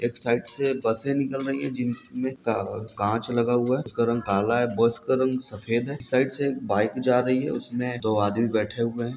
एक साइड से बसें निकल रही हैं जिनमें का काँच लगा हुआ है| उसका रंग काला है बस का रंग सफेद है| साइड़ से एक बाइक जा रही है उसमें दो आदमी बैठे हुए हैं।